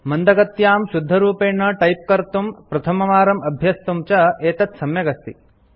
मन्दगत्यां शुद्धरूपेण टैप कर्तुं प्रथमवारं अभ्यस्तुं च एतत् सम्यक् अस्ति